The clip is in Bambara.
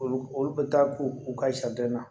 Olu olu bɛ taa k'u u ka sariden na